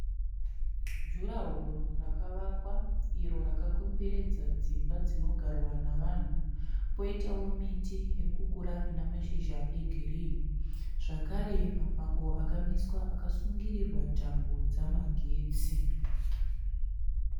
Jurahoro rakawakwa iro rakakomberedza dzimba dzinogarwa nevanhu . Poitawo miti irikukura ine mashizha egirinhi. Zvakare mapango akamiswa akasungirirwa tambo dzemagetsi